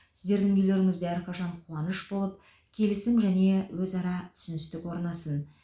сіздердің үйлеріңізде әрқашан қуаныш болып келісім және өзара түсіністік орнасын